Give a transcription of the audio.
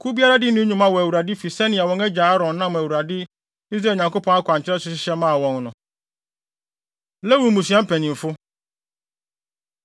Kuw biara dii ne dwuma wɔ Awurade fi sɛnea wɔn agya Aaron nam Awurade, Israel Nyankopɔn akwankyerɛ so hyehyɛ maa wɔn no. Lewi Mmusua Mpanyimfo